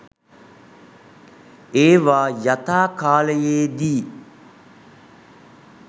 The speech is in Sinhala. ඒවා යථා කාලයේදී